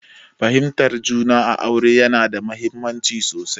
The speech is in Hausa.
Fahimtar juna a aure yana da mahimmanci sosai.